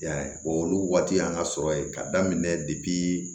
I y'a ye o olu waati y'an ka sɔrɔ ye ka daminɛ